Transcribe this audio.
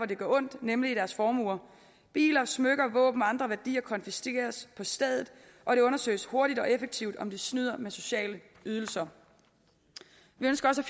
det gør ondt nemlig i deres formuer biler smykker våben og andre værdier konfiskeres på stedet og det undersøges hurtigt og effektivt om de snyder med sociale ydelser vi ønsker også